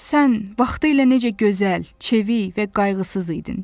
Sən vaxtilə necə gözəl, çevik və qayğısız idin.